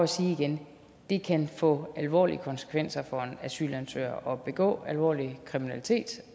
sige igen at det kan få alvorlige konsekvenser for en asylansøger at begå alvorlig kriminalitet